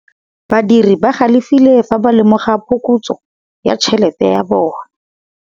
Badiri ba galefile fa ba lemoga phokotsô ya tšhelête ya bone.